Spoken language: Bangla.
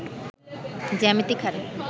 জ্যামিতিক হারে